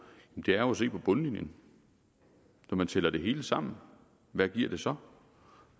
er jo at se på bundlinjen når man tæller det hele sammen hvad giver det så